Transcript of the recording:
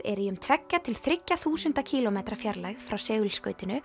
er í um tveggja til þriggja þúsunda kílómetra fjarlægð frá